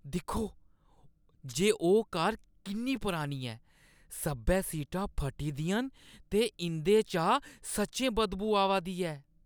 दिक्खो जे ओह् कार किन्नी परानी ऐ। सब्भै सीटां फट्टी दियां न ते इंʼदे चा सच्चें बदबू आवा दी ऐ।